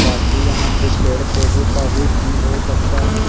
काफी यहां पे पेड़ पौधे का भी सीन बहुत अच्छा है।